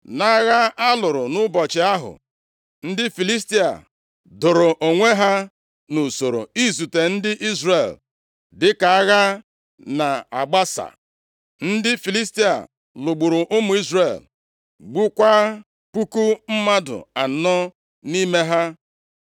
Nʼagha a lụrụ nʼụbọchị ahụ, ndị Filistia doro onwe ha nʼusoro izute ndị Izrel, dịka agha na-agbasa, ndị Filistia lụgburu ụmụ Izrel, gbukwaa puku mmadụ anọ nʼime ha.